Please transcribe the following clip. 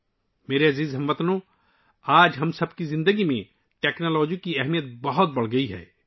میرے پیارے ہم وطنو، آج ہماری زندگی میں ٹیکنالوجی کی اہمیت بہت بڑھ گئی ہے